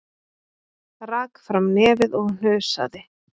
Rak fram nefið og hnusaði.